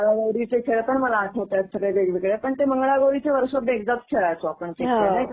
आमचे मंगळागौरीचे खेळ पण मला आठवतायेत सगळे वेगवेगळे. पण ते मंगळागौरीचे वर्षातून एकदाच खेळायचो आपण ते खेळ नाही का